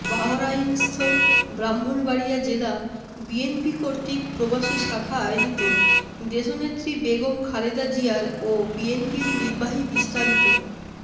বাহরাইনস্থ্য ব্রাহ্মনবাড়ীয়া জেলা বিএনপি কর্তৃিক প্রবাসী শাখা আয়োজিত দেশনেত্রী বেগম খালেদা জিয়ার ও বিএনপির নির্বাহীবিস্তারিত